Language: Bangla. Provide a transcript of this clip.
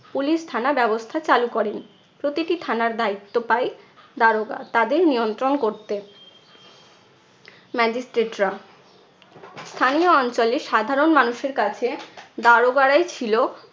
police থানা ব্যবস্থা চালু করেন। প্রতিটি থানার দায়িত্ব পায় দারোগা। তাদের নিয়ন্ত্রণ করতে magistrate রা। স্থানীয় অঞ্চলে সাধারণ মানুষের কাছে দারোগারাই ছিলো